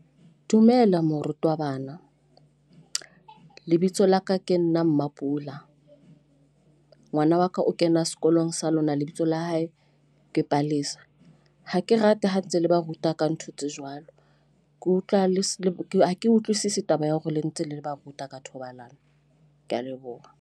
Dumela, morutabana. Lebitso la ka ke nna Mapula. Ngwana wa ka o kena sekolong sa lona lebitso la hae ke Palesa. Ha ke rate ha ntse le ba ruta ka ntho tse jwalo, ke utlwa le ke ha ke utlwisisi taba ya hore le ntse le le ba ruta ka thobalano. Ke a leboha.